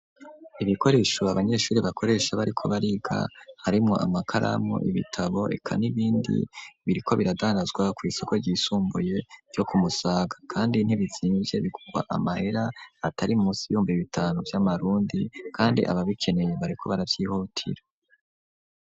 Ibikoresho, abanyeshure bakoresha, bariko bariga, harimwo amakaramu, ibitabo, eka n'ibindi; biriko biradandazwa, kw'isoko ryisumbuye, ryo ku Musaga; kandi ntibizimvye, bigurwa amahera, atari munsi, y'ibihumbi bitanu vy'amarundi; kandi ababikeneye, bariko baravyihutira.